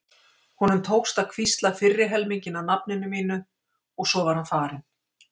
Honum tókst að hvísla fyrri helminginn af nafninu mínu og svo var hann farinn.